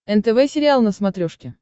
нтв сериал на смотрешке